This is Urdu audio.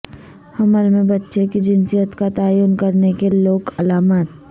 حمل میں بچے کی جنسیت کا تعین کرنے کے لوک علامات